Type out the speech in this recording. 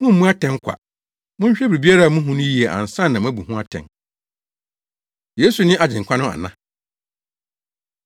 Mummmu atɛn kwa. Monhwɛ biribiara a muhu no yiye ansa na moabu ho atɛn.” Yesu Ne Agyenkwa No Ana?